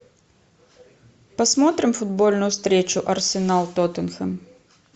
посмотрим футбольную встречу арсенал тоттенхэм